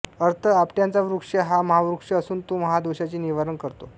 अर्थ आपट्याचा वृक्ष हा महावृक्ष असून तो महादोषांचे निवारण करतो